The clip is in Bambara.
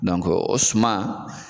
o suman